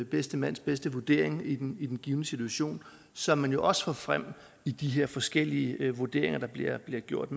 bedste mands bedste vurdering i den i den givne situation som man jo også får frem i de her forskellige vurderinger der bliver bliver gjort